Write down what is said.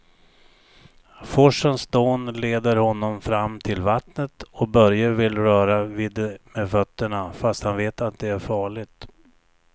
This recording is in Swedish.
Forsens dån leder honom fram till vattnet och Börje vill röra vid det med fötterna, fast han vet att det är farligt.